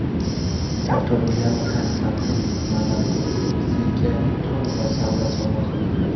Sardor Milano Konstantin Meladzega to‘n va salla sovg‘a qildi.